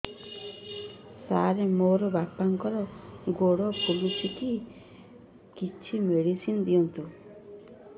ସାର ମୋର ବାପାଙ୍କର ଗୋଡ ଫୁଲୁଛି କିଛି ମେଡିସିନ ଦିଅନ୍ତୁ